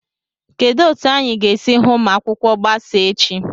Kedụ etu anyị ga-esi hụ ma akwụkwọ gbasaa echi?